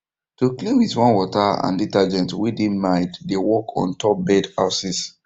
to clean with warm water and detergent way dey mild dey work on top bird houses